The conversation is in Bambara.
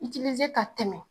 ka tɛmɛ.